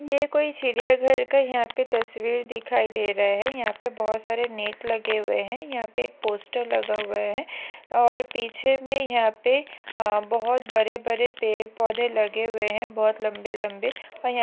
ये कोई चिड़िया घर का यहा पे तस्वीर दिखाई दे रहा है। यहा पे बहुत सारे नेट लगे हुए है। यहा पे एक पोस्टर लगा हुआ है और पीछे मे यहा पे अ बहुत बड़े बड़े पेड़ पौधे लगे हुए है बहुत लंबे लंबे और यहा--